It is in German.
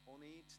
– Auch nicht.